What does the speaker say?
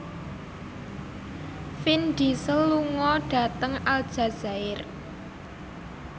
Vin Diesel lunga dhateng Aljazair